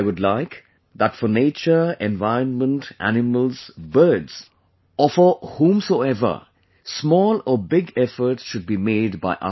I would like that for nature, environment, animals, birdsor for whomsoever small or big efforts should be made by us